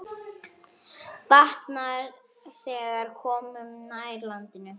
Batnar, þegar komum nær landi.